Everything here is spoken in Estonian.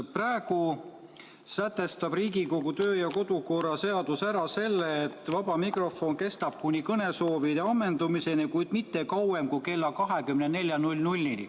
Praegu sätestab Riigikogu kodu- ja töökorra seadus, et vaba mikrofon kestab kuni kõnesoovide ammendumiseni, kuid mitte kauem kui kella 24-ni.